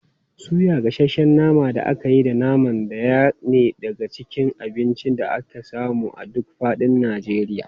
Suya, gasasshen naman da aka yi da naman sa ɗaya ne daga cikin abincin da ake samu a duk faɗin Najeriya.